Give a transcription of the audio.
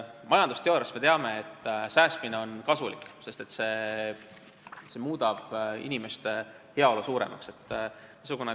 Majandusteooriast me teame, et säästmine on kasulik, sest see muudab inimeste heaolu suuremaks.